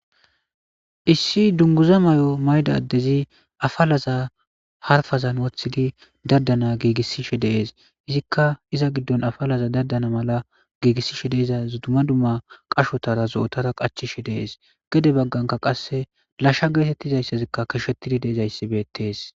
Issi dunguza may'o mayda addezi afalaza harfazan wothidi daddana giigissishe dees izikka iza giddon afalaza daddana mala giigissishe deeza zuduma dumma qashotara zo'otara qachishe dees gede bagganka qasse lashsha geetettizayssazikka kishettidi deezayssi beettees.